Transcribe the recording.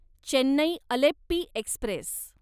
Chennai Alleppey Express